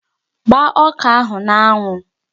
Gbaa ọka a n'anwụ!